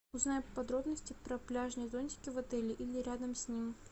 узнай подробности про пляжные зонтики в отеле или рядом с ним